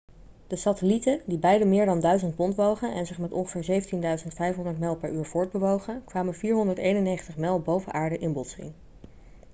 de satellieten die beide meer dan 1.000 pond wogen en zich met ongeveer 17.500 mijl per uur voortbewogen kwamen 491 mijl boven aarde in botsing